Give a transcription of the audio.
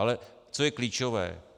Ale co je klíčové.